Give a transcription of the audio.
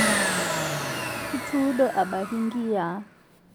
Ituudo abaki nkiyia